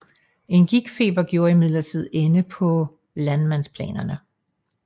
En gigtfeber gjorde imidlertid ende på landmandsplanerne